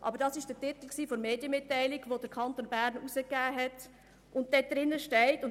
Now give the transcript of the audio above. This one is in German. Aber das war der Titel der vom Kanton Bern herausgegebenen Medienmitteilung.